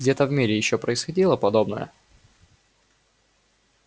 где-то в мире ещё происходило подобное